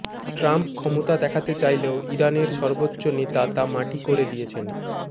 Trump ক্ষমতা দেখাতে চাইলেও ইরানের সর্বোচ্চ নেতা তা মাটি করে দিয়েছেন